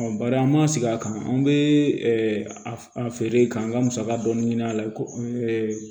bari an m'a sigi a kan an bɛ a feere ka an ka musaka dɔɔni ɲini a la ko